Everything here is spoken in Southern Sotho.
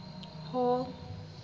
hall